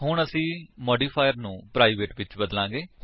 ਹੁਣ ਅਸੀ ਮਾਡਿਫਾਇਰ ਨੂੰ ਪ੍ਰਾਈਵੇਟ ਵਿੱਚ ਬਦਲਾਂਗੇ